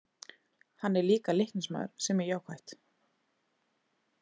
Hann er líka Leiknismaður sem er jákvætt.